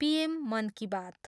PM Mann Ki बात।